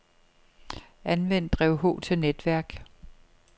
Anvend drev H til netværk.